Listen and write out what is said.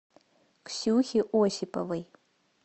ксюхе осиповой